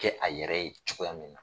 Kɛ a yɛrɛ ye cogoya min na.